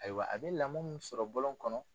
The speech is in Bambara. Ayiwa a bɛ lamɔ min sɔrɔ bɔlɔn kɔnɔ